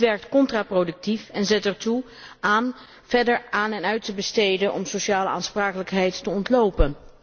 Dit werkt contraproductief en zet ertoe aan verder aan en uit te besteden om sociale aansprakelijkheid te ontlopen.